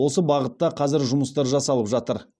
осы бағытта қазір жұмыстар жасалып жатыр